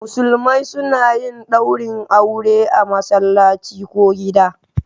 Musulmai suna yin daurin aure a masallaci ko gida.